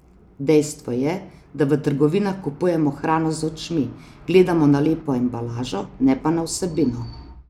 Dejstvo je, da v trgovinah kupujemo hrano z očmi, gledamo na lepo embalažo, ne pa na vsebino.